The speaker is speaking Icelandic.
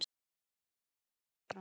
Baráttan hefur haldið áfram